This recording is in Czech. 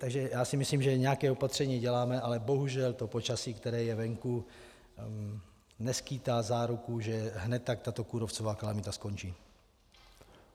Takže já si myslím, že nějaká opatření děláme, ale bohužel to počasí, které je venku, neskýtá záruku, že hned tak tato kůrovcová kalamita skončí.